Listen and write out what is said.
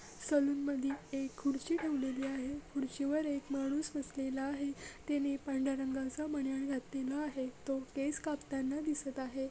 Salon मधी एक खुर्ची ठेवलेली आहे खुर्चीवर एक माणूस बसलेला आहे त्याने पांढर्‍या रंगाचा बनियन घातलेला आहे तो केस कापताना दिसत आहे.